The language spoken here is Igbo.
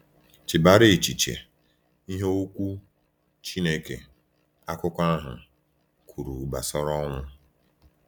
Chebara echiche, ihe Okwu Chineke, akụkọ ahụ, kwuru gbasara ọnwụ.